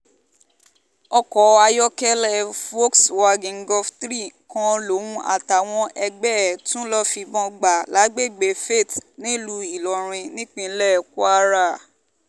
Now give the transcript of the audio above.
ọkọ̀ ayọ́kẹ́lẹ́ volkswagen golf three kan lòun àtàwọn ẹgbẹ́ ẹ̀ tún lọ́ọ́ fìbọn gbà lágbègbè fate nílùú ìlọrin nípínlẹ̀ kwara